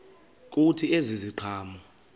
kuthi ezi ziqhamo